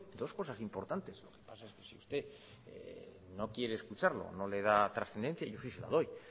dos cosas importantes la cosa es que si usted no quiere escucharlo no le da trascendencia yo sí se la doy le estoy